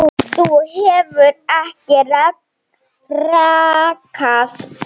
Þú hefur ekki rakað þig.